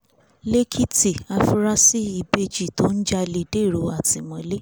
lẹ́kìtì àfúráṣí ìbejì tó ń jalè dèrò àtìmọ́lé